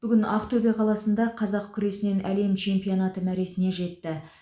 бүгін ақтөбе қаласында қазақ күресінен әлем чемпионаты мәресіне жетті